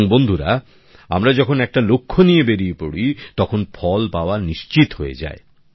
এবং বন্ধুরা আমরা যখন একটা লক্ষ্য নিয়ে বেরিয়ে পড়ি তখন ফল পাওয়া নিশ্চিত হয়ে যায়